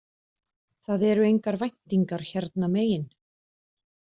Það eru engar væntingar hérna megin